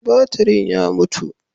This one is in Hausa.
Batirin ya mutu.